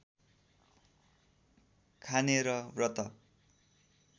खाने र व्रत